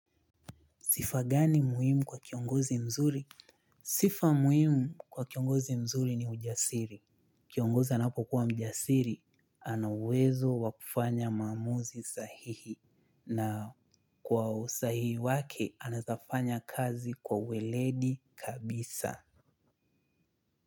Sifa gani muhimu kwa kiongozi mzuri? Sifa muhimu kwa kiongozi mzuri ni ujasiri. Kiongozi anapokuwa mjasiri, ana uwezo wa kufanya maamuzi sahihi. Na kwa usahihi wake, anaeza fanya kazi kwa weledi kabisa.